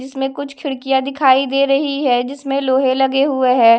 इसमें कुछ खिड़कियां दिखाई दे रही है जिसमें लोहे लगे हुए है।